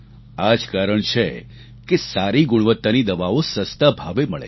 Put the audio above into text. આ જ કારણ છે કે સારી ગુણવત્તાની દવાઓ સસ્તા ભાવે મળે છે